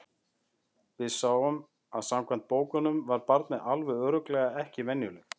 Við sáum að samkvæmt bókunum var barnið alveg örugglega ekki venjulegt.